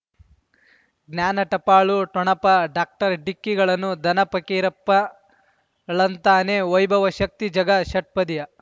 ಜ್ಞಾನ ಟಪಾಲು ಠೊಣಪ ಡಾಕ್ಟರ್ ಢಿಕ್ಕಿ ಣಗಳನು ಧನ ಫಕೀರಪ್ಪ ಳಂತಾನೆ ವೈಭವ ಶಕ್ತಿ ಝಗಾ ಷಟ್ಪದಿಯ